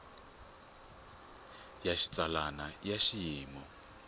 ya xitsalwana i ya xiyimo